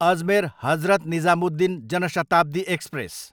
Ajmer, Hazrat Nizamuddin Jan Shatabdi express